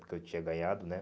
Porque eu tinha ganhado, né?